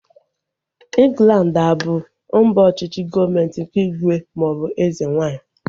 Ịnglandi a bụ mba ọchịchị gọọmenti nke ígwè maọbụ eze nwaanyị?